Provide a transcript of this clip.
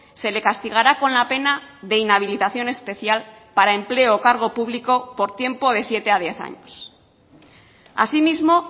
se le castigará con la pena de inhabilitación especial para empleo o cargo público por tiempo de siete a diez años asimismo